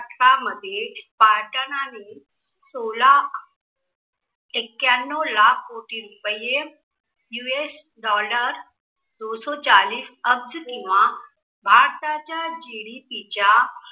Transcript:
मध्ये पार्तानानी सोला ऐक्याणव्व लाख कोटी रुपये US Dollar दोसौ चालीस अब्ज किंवा भारताच्या GDP च्या